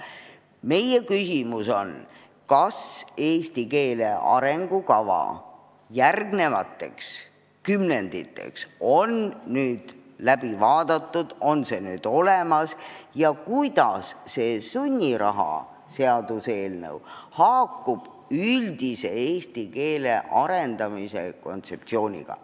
Meie küsimus on, kas eesti keele arengukava järgmisteks kümnenditeks on läbi vaadatud, on see olemas, ja kuidas see sunniraha seaduse eelnõu haakub üldise eesti keele arendamise kontseptsiooniga.